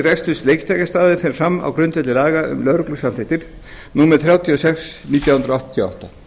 reksturs leiktækjastaða fer fram á grundvelli laga um lögreglusamþykktir númer þrjátíu og sex nítján hundruð áttatíu og átta